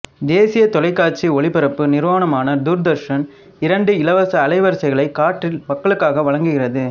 தேசிய தொலைக்காட்சி ஒலிபரப்பு நிறுவனமான தூர்தர்ஷன் இரண்டு இலவச அலைவரிசைகளை காற்றில் மக்களுக்காக வழங்குகிறது